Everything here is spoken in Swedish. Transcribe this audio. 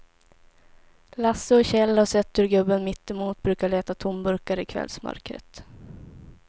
Lasse och Kjell har sett hur gubben mittemot brukar leta tomburkar i kvällsmörkret.